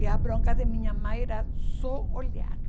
E a bronca de minha mãe era só olhar.